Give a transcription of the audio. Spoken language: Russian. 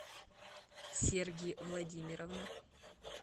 серги владимировна